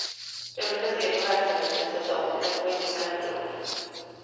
Jag brukar se på verksamheten i säsonger och inte kalenderår.